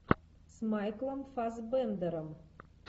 с майклом фассбендером